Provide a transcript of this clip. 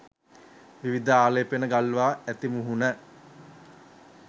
විවිධ ආලේපන ගල්වා ඇති මුහුණ